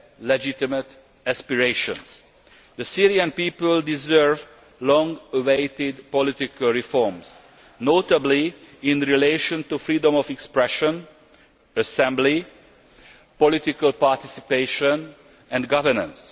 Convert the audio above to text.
legitimate aspirations. The Syrian people deserve long awaited political reforms, notably in relation to freedom of expression, assembly, political participation and governance.